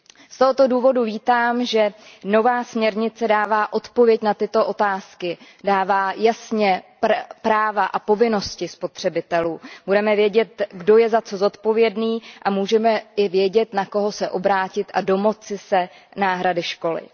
Z tohoto důvodu vítám, že nová směrnice dává odpověď na tyto otázky, dává jasně práva a povinnosti spotřebitelů, budeme vědět, kdo je za co zodpovědný, a můžeme i vědět, na koho se obrátit a domoci se náhrady škody.